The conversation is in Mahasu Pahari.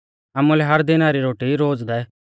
आमुलै हर दिना री रोटी रोज़ दै